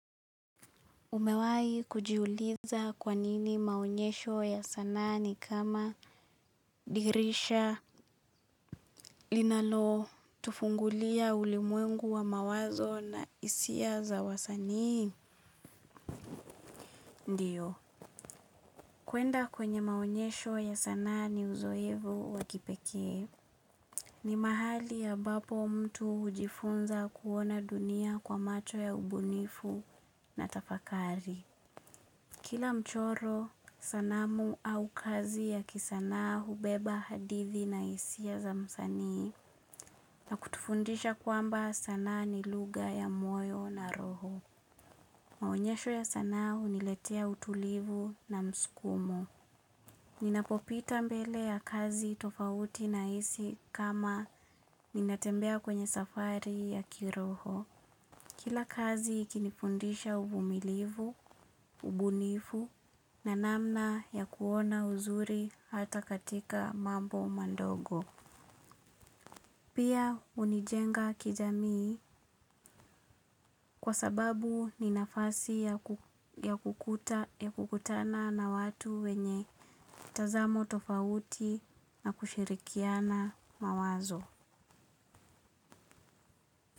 Umewahi kujiuliza kwanini maonyesho ya sanaa ni kama dirisha linalo tufungulia ulimwengu wa mawazo na hisia za wasani? Ndiyo. Kuenda kwenye maonyesho ya sanaa ni uzoefu wa kipekee. Ni mahali ambapo mtu hujifunza kuona dunia kwa macho ya ubunifu na tafakari. Kila mchoro, sanamu au kazi ya kisanaa hubeba hadithi na hisia za msani na kutufundisha kwamba sanaa ni lugha ya moyo na roho. Maonyesho ya sanaa huniletea utulivu na mskumo. Ninapopita mbele ya kazi tofauti nahisi kama ninatembea kwenye safari ya kiroho. Kila kazi ikinifundisha uvumilivu, ubunifu na namna ya kuona uzuri hata katika mambo madogo. Pia hunijenga kijamii kwa sababu ni nafasi ya kukutana na watu wenye tazamo tofauti na kushirikiana mawazo.